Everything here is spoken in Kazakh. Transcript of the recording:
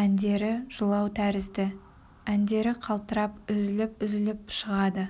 әндері жылау тәрізді әндері қалтырап үзіліп-үзіліп шығады